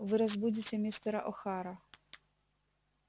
вы разбудите мистера охара